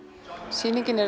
sýningin er